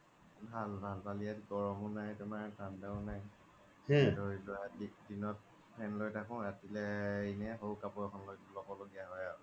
ভাল ভাল ইয়াত গৰমও নাই তুমাৰ ঠান্দাও নাই ধৰি লোৱা বিশ দিনত fan লই থাকো ৰাতি লে এনে হওক কাপুৰ এখন লই থাকো হ্'ব দিয়া আৰু হয়